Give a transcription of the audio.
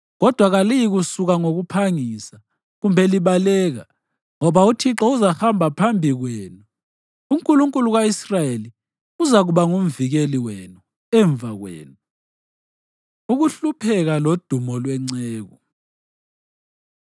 Kodwa kaliyikusuka ngokuphangisa, kumbe libaleka; ngoba uThixo uzahamba phambi kwenu, uNkulunkulu ka-Israyeli uzakuba ngumvikeli wenu emva kwenu. Ukuhlupheka Lodumo Lwenceku